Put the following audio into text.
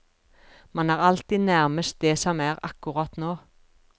Man er alltid nærmest det som er akkurat nå.